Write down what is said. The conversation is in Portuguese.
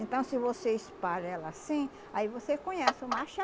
Então, se você espalha ela assim, aí você conhece o macho e a